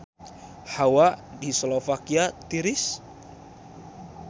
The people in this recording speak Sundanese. Hawa di Slovakia tiris